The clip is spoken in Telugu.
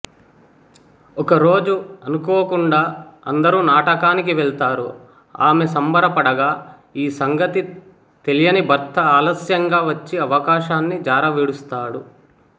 ఒకరోజు అనుకోకుండా అందరూ నాటకానికి వెళ్తారు ఆమె సంబరపడగా ఈ సంగతి తెలియని భర్త ఆలస్యంగా వచ్చి అవకాశాన్ని జారవిడుస్తాడు